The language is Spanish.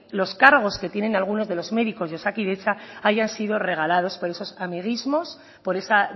los cargos que tienen alguno de los médicos de osakidetza hayan sido regalados por esos amiguismos por esa